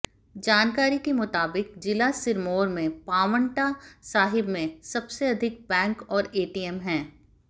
जानकारी के मुताबिक जिला सिरमौर में पांवटा साहिब में सबसे अधिक बैंक और एटीएम हैं